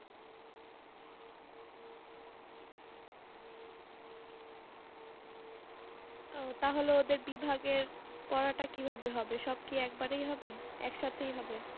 ও তাহলে ওদের বিভাগের পরোটা কিভাবে হবে? সব কি একবারই হবে? একসাথেই হবে